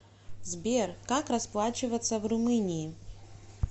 сбер как расплачиваться в румынии